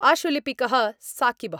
आशुलिपिकः साक़िबः